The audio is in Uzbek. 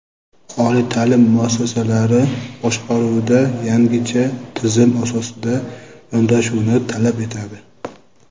oliy ta’lim muassasalari boshqaruvida yangicha tizim asosida yondashuvni talab etadi.